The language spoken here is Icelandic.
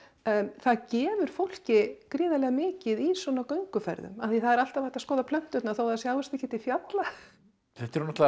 það gefur fólki gríðarlega mikið í svona gönguferðum af því það er alltaf hægt að skoða plönturnar þó það sjáist ekki til fjalla þetta eru náttúrulega